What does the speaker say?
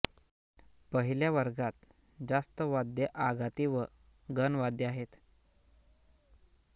पहिल्या वर्गात जास्त वाद्ये आघाती व घनवाद्ये आहेत